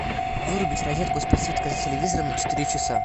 вырубить розетку с подсветкой за телевизором на четыре часа